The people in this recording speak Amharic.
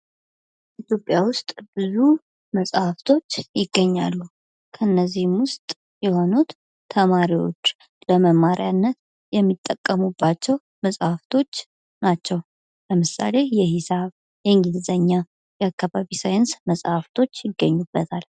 ኢትዮጵያ ውስጥ ብዙ መጽሐፍቶች ይገኛሉ። ከነዚህም ውስጥ የሆኑት ተማሪዎች ለመማርያነት የሚጠቀሙባቸው መጽሐፍቶች ናቸው። ለምሳሌ የሂሳብ፣ እንግሊዝኛ፣ የአካባቢ ሳይንስ መሐፍቶች ይገኙበታል።